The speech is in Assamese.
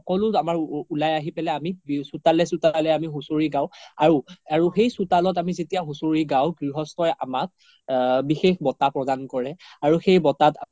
আমাৰ উলাই আহি পেলে আমি চোতালে চোতালে হুচৰি গাও আৰু সেই চোতালত আমি যেতিয়া হুচৰি গাও গ্ৰিহস্থই আমাক বিষেস বটা প্ৰদান কৰে আৰু সেই বটাত